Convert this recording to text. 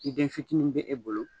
Ni den fitini bɛ e bolo